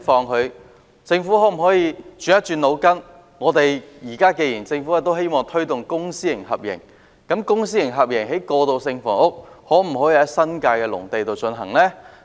那麼，政府可否動動腦筋，既然政府現在希望推動公私合營，可否在新界農地以公私合營方式興建過渡性房屋呢？